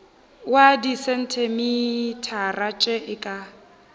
wa disentimetara tše e ka